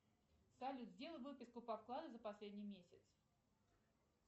салют сделай выписку по вкладу за последний месяц